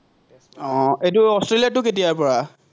আহ এইটো অষ্ট্ৰেলিয়াৰটো কেতিয়াৰপৰা?